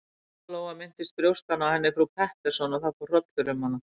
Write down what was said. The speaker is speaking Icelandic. Lóa-Lóa minntist brjóstanna á henni frú Pettersson og það fór hrollur um hana.